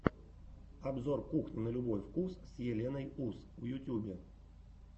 обзор кухни на любой вкус с еленой ус в ютьюбе